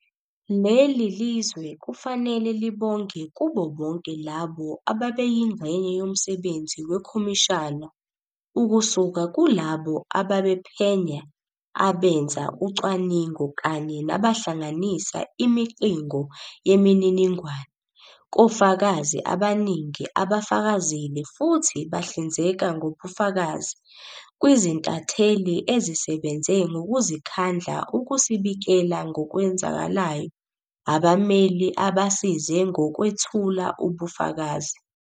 Leli lizwe kufanele libonge kubo bonke labo abebeyingxenye yomsebenzi wekhomishana, ukusuka kulabo ababephenya, abenza ucwaningo kanye nabahlanganisa imiqingo yemininingwane, kofakazi abaningi abafakazile futhi bahlinzeka ngobufakazi, kwizintatheli ezisebenze ngokuzikhandla ukusibikela ngokwenzakalayo, abameli abasize ngokwethula ubufakazi.